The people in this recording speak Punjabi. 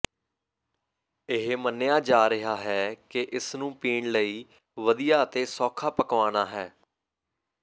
ਇਹ ਮੰਨਿਆ ਜਾ ਰਿਹਾ ਹੈ ਕਿ ਇਸ ਨੂੰ ਪੀਣ ਲਈ ਵਧੀਆ ਅਤੇ ਸੌਖਾ ਪਕਵਾਨਾ ਹੈ